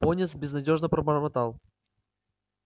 пониетс безнадёжно пробормотал